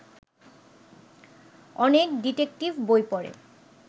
অনেক ডিটেকটিভ বই পড়ে